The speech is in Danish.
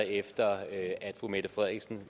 efter at fru mette frederiksen